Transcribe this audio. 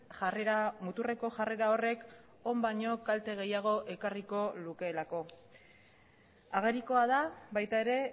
jarrera muturreko jarrera horrek on baino kalte gehiago ekarriko lukeelako agerikoa da baita ere